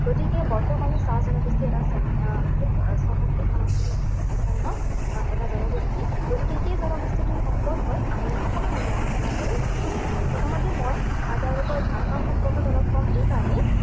গতিকে বৰ্তমানৰ চাহ জনগোষ্ঠী এটা আহ খুব চহকী সংস্কৃতিসম্পন্ন এটা জনগোষ্ঠী। গতিকে সেই জনগোষ্ঠীটোৰ সম্পৰ্কত আমি অকণমান আজি আলোচনা কৰিম। প্ৰথমতে মই আহ তেওঁলোকৰ ভাষা সম্পৰ্কত অলপ কম, এইকাৰণেই